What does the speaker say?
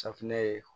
Safinɛ ye